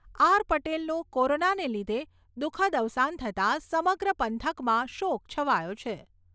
પટેલનું કોરોનાને લીધે દુઃખદ અવસાન થતાં સમગ્ર પંથકમાં શોક છવાયો છે.